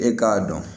E k'a dɔn